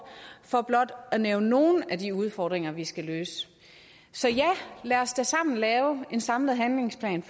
for blot at nævne nogle af de udfordringer vi skal løse så ja lad os da sammen lave en samlet handlingsplan